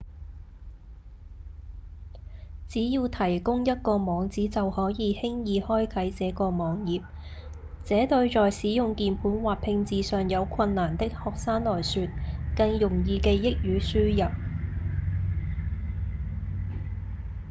只要提供一個網址就可以輕易開啟這個網頁這對在使用鍵盤或拼字上有困難的學生來說更容易記憶與輸入